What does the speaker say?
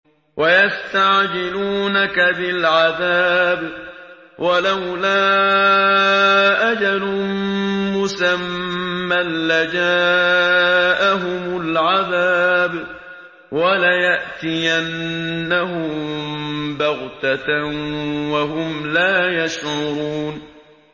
وَيَسْتَعْجِلُونَكَ بِالْعَذَابِ ۚ وَلَوْلَا أَجَلٌ مُّسَمًّى لَّجَاءَهُمُ الْعَذَابُ وَلَيَأْتِيَنَّهُم بَغْتَةً وَهُمْ لَا يَشْعُرُونَ